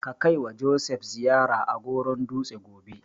Ka kaiwa Joseph ziyara a Goron dutse gobe.